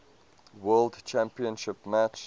world championship match